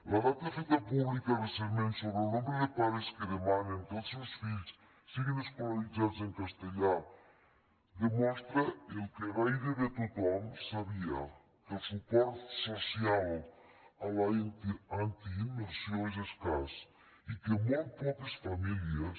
la data feta pública recentment sobre el nombre de pares que demanen que els seus fills siguin escolaritzats en castellà demostra el que gairebé tothom sabia que el suport social a la antiimmersió és escàs i que molt poques famílies